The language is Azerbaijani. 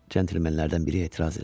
Centlemenlərdən biri etiraz elədi.